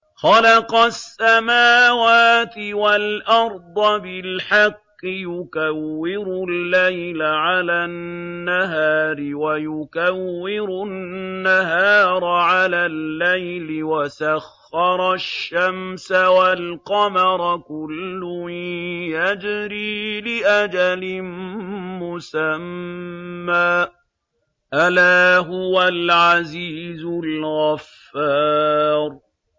خَلَقَ السَّمَاوَاتِ وَالْأَرْضَ بِالْحَقِّ ۖ يُكَوِّرُ اللَّيْلَ عَلَى النَّهَارِ وَيُكَوِّرُ النَّهَارَ عَلَى اللَّيْلِ ۖ وَسَخَّرَ الشَّمْسَ وَالْقَمَرَ ۖ كُلٌّ يَجْرِي لِأَجَلٍ مُّسَمًّى ۗ أَلَا هُوَ الْعَزِيزُ الْغَفَّارُ